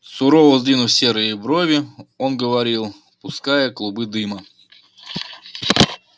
сурово сдвинув серые брови он говорил пуская клубы дыма